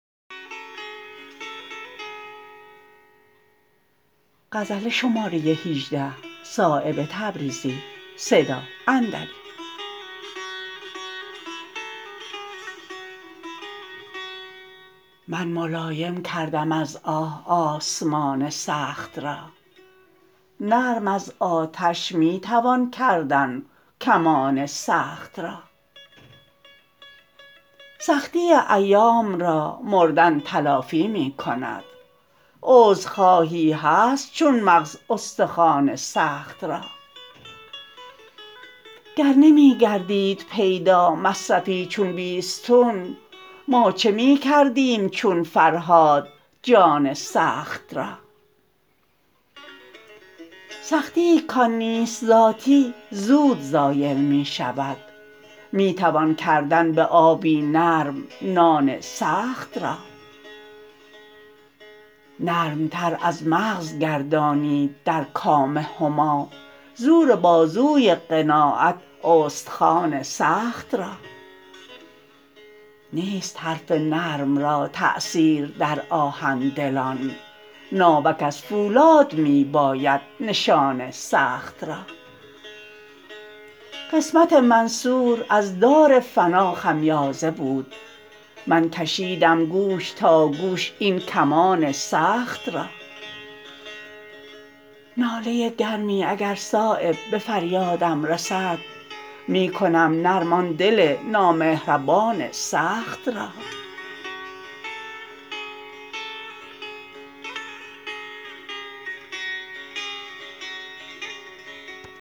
من ملایم کردم از آه آسمان سخت را نرم از آتش می توان کردن کمان سخت را سختی ایام را مردن تلافی می کند عذرخواهی هست چون مغز استخوان سخت را گر نمی گردید پیدا مصرفی چون بیستون ما چه می کردیم چون فرهاد جان سخت را سختیی کان نیست ذاتی زود زایل می شود می توان کردن به آبی نرم نان سخت را نرمتر از مغز گردانید در کام هما زور بازوی قناعت استخوان سخت را نیست حرف نرم را تأثیر در آهن دلان ناوک از فولاد می باید نشان سخت را قسمت منصور از دار فنا خمیازه بود من کشیدم گوش تا گوش این کمان سخت را ناله گرمی اگر صایب به فریادم رسد می کنم نرم آن دل نامهربان سخت را